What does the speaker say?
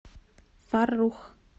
фаррух